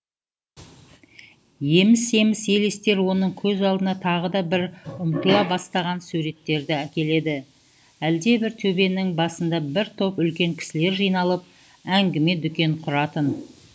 еміс еміс елестер оның көз алдына тағы да бір ұмытыла бастаған суреттерді әкеледі әлдебір төбенің басында бір топ үлкен кісілер жиналып әңгіме дүкен құратын